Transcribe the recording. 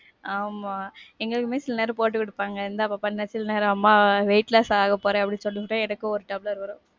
ஆமா. எங்களுக்குமே சில நேரம் போட்டு குடுப்பாங்க இந்தா பாப்பா இந்தா சில நேரம் அம்மா வீட்ல சாப்ட போறேன் அப்படின்னு சொல்லிபுட்டு எனக்கு ஒரு டம்ப்ளர் வரும்.